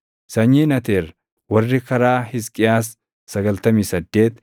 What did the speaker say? sanyiin Ateer warri karaa Hisqiyaas 98